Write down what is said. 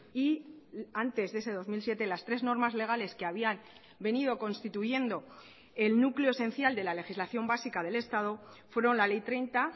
y antes de ese dos mil siete las tres normas legales que habían venido constituyendo el núcleo esencial de la legislación básica del estado fueron la ley treinta